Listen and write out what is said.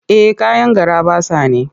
Eh kayan garaɓasa ne.